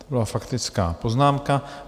To byla faktická poznámka.